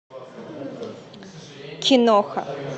киноха